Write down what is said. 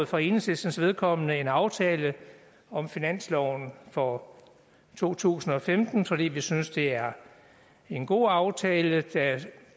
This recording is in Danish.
for enhedslistens vedkommende indgået en aftale om finansloven for to tusind og femten fordi vi synes det er en god aftale der